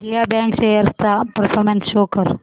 Vijaya bank shares चा performance show कर